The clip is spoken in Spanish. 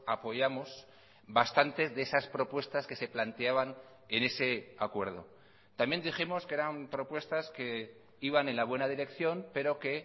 apoyamos bastantes de esas propuestas que se planteaban en ese acuerdo también dijimos que eran propuestas que iban en la buena dirección pero que